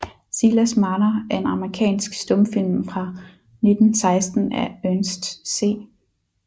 Silas Marner er en amerikansk stumfilm fra 1916 af Ernest C